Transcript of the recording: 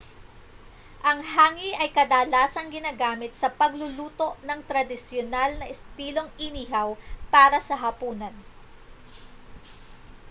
ang hangi ay kadalasang ginagamit sa pagluluto ng tradisyonal na estilong inihaw para sa hapunan